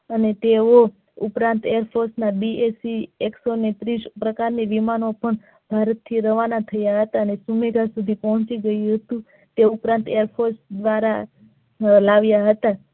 અને તેવો ઉપરાંત એકસો ને ત્રીશ પ્રકારની વિમાનો પણ ભારત થી રવાના થયા અને ત્યાં સુધી પહોંચી ગયું હતું તે ઉપરાંત એસોસ દ્વારા લાવીયા હતા.